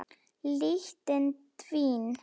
Lyktin dvín.